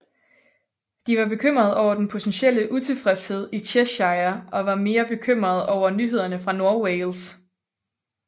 De var bekymrede over den potentielle utilfredshed i Cheshire og var mere bekymrede over nyhederne fra Nordwales